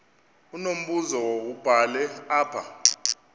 unombuzo wubhale apha